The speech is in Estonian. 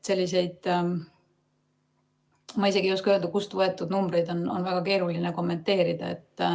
Selliseid, ma isegi ei oska öelda, kust võetud numbreid on väga keeruline kommenteerida.